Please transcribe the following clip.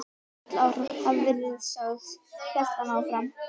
Öll orð hafa verið sögð hélt hann áfram.